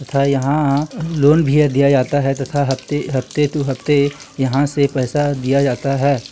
तथा यहां लोन भी दिया जाता है तथा हफ्ते हफ्ते टू हफ़्ते यहाँ से पैसा दिया जाता है ।